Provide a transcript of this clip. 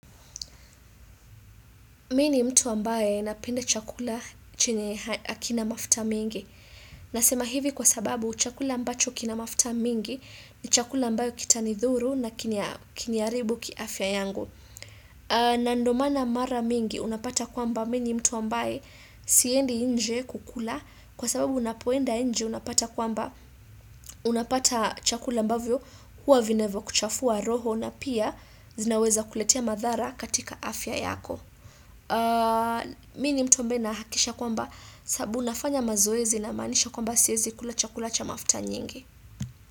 Mimi ni mtu ambaye napenda chakula chenye hakina mafuta mingi. Nasema hivi kwa sababu chakula ambacho kina mafuta mingi ni chakula ambayo kitanidhuru na kini kiniharibu kiafya yangu. Na ndo maana mara mingi unapata kwamba mimi ni mtu ambaye siendi nje kukula kwa sababu unapoenda nje unapata kwamba unapata chakula ambavyo huwa vinavyokuchafua roho na pia zinaweza kuletea madhara katika afya yako. Mimi ni mtu ambaye nahakisha kwamba sabu nafanya mazoezi namaanisha kwamba siezi kula cha mafuta nyingi.